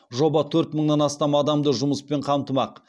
жоба төрт мыңнан астам адамды жұмыспен қамтымақ